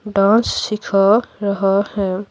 Dance सिखा रहा है।